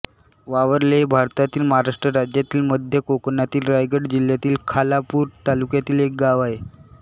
वावर्ले हे भारतातील महाराष्ट्र राज्यातील मध्य कोकणातील रायगड जिल्ह्यातील खालापूर तालुक्यातील एक गाव आहे